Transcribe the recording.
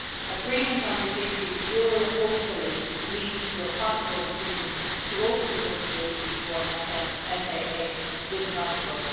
Agreement on this issue will hopefully lead to a possible decision to open negotiations for an SAA with Kosovo.